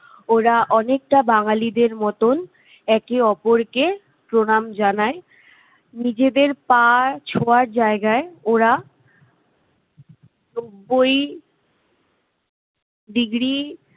ওরা অনেকটা বাঙ্গালীদের মতন একে অপরকে প্রণাম জানায়। নিজেদের পা ছোঁয়ার জায়গায় ওরা নব্বই degree